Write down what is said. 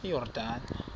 iyordane